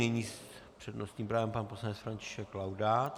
Nyní s přednostním právem pan poslanec František Laudát.